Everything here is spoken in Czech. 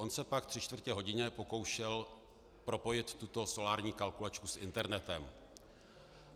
On se pak tři čtvrtě hodiny pokoušel propojit tuto solární kalkulačku s internetem.